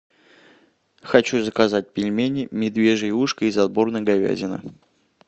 хочу заказать пельмени медвежье ушко из отборной говядины